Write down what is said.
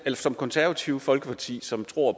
som konservative folkeparti som tror